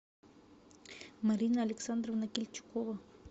марина александровна кильчукова